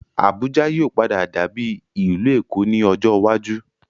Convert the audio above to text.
Abuja yìí ó padà dàbí ìlú Èkó ni ọjọ́ iwájú